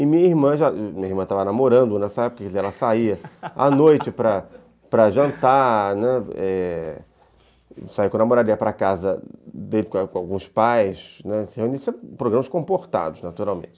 E minha irmã já... Minha irmã estava namorando nessa época, quer dizer, ela saía à noite para jantar, saía com a namorada, ia para casa dele com alguns pais, reunia-se em programas comportados, naturalmente.